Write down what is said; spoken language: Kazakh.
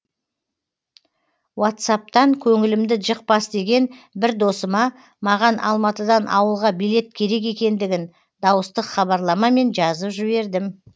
уатсаптан көңілімді жықпас деген бір досыма маған алматыдан ауылға билет керек екендігін дауыстық хабарламамен жазып жібердім